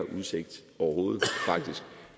udsigt